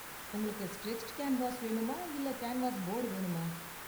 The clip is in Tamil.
உங்களுக்கு ஸ்ட்ரெச்டு கேன்வாஸ் வேணுமா இல்ல கேன்வாஸ் போர்டு வேணுமா?